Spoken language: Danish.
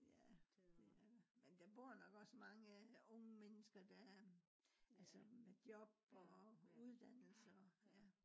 ja det er der men der bor nok også mange unge mennesker der er øh altså med job og uddannelser